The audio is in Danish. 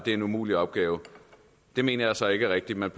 er en umulig opgave det mener jeg så ikke er rigtigt man